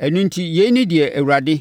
Ɛno enti yei ne deɛ Awurade,